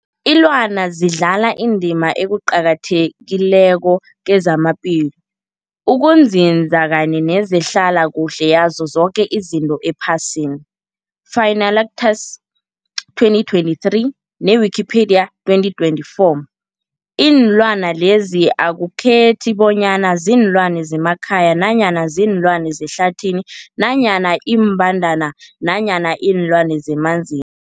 Ilwana zidlala indima eqakathekileko kezamaphilo, ukunzinza kanye nezehlala kuhle yazo zoke izinto ephasini, Fuanalytics 2023, ne-Wikipedia 2024. Iinlwana lezi akukhethi bonyana ziinlwana zemakhaya nanyana kuziinlwana zehlathini nanyana iimbandana nanyana iinlwana zemanzi